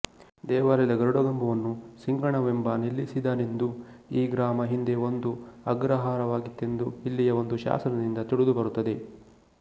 ದೇವಾಲಯದ ಗರುಡಗಂಬವನ್ನು ಸಿಂಘಣವೆಂಬ ನಿಲ್ಲಿಸಿದನೆಂದೂ ಈ ಗ್ರಾಮ ಹಿಂದೆ ಒಂದು ಅಗ್ರಹಾರವಾಗಿತ್ತೆಂದೂ ಇಲ್ಲಿಯ ಒಂದು ಶಾಸನದಿಂದ ತಿಳಿದುಬರುತ್ತದೆ